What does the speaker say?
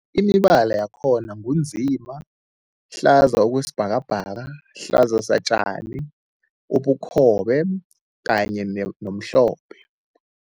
Imibala yakhona ngu nzima, hlaza okwesibhakabhaka, hlaza satjani, ubukhobe kanye nomhlophe.